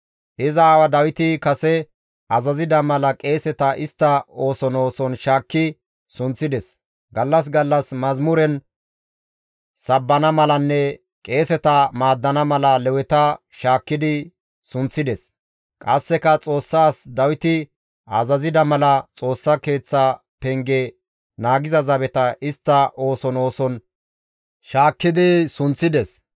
Iza aawa Dawiti kase azazida mala qeeseta istta ooson ooson shaakki sunththides; gallas gallas mazamuren sabbana malanne qeeseta maaddana mala Leweta shaakkidi sunththides. Qasseka Xoossa as Dawiti azazida mala Xoossa Keeththa penge naagiza zabeta istta ooson ooson shaakkidi sunththides.